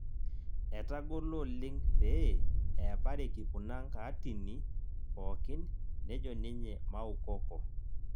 Etang'olo oleng' pee epareki kuna nkaatini pookin nejo ninye Maukoko